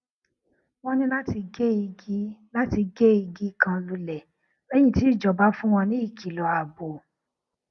wón ní láti gé igi láti gé igi kan lulè lẹyìn tí ìjọba fún wọn ní ìkìlò ààbò